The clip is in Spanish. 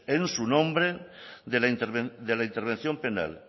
en su nombre de la intervención penal